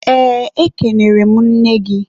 eee, ekenere m nne gị.